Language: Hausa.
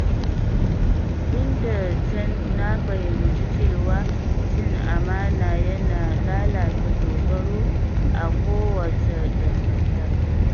Tun da can na fahimci cewa cin amana yana lalata dogaro a kowace dangantaka.